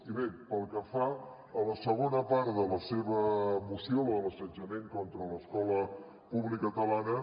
i bé pel que fa a la segona part de la seva moció la de l’assetjament contra l’escola pública catalana